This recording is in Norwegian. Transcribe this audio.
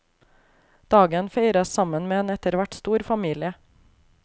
Dagen feires sammen med en etterhvert stor familie.